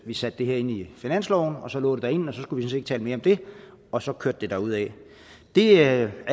vi satte det her ind i finansloven for så lå det derinde og så skulle vi ikke tale mere om det og så kørte det derudad det er